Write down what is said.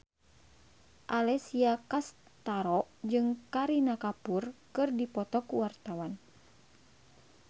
Alessia Cestaro jeung Kareena Kapoor keur dipoto ku wartawan